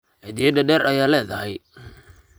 Cidiya derder aya ledahy.